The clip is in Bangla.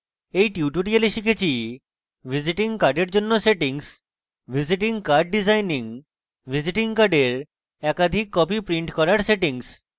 in tutorial আমরা শিখেছি: